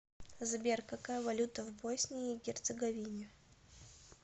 сбер какая валюта в боснии и герцеговине